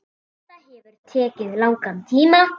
Þetta hefur tekið langan tíma.